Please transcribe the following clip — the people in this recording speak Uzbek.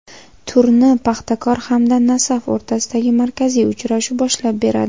Turni "Paxtakor" hamda "Nasaf" o‘rtasidagi markaziy uchrashuv boshlab beradi.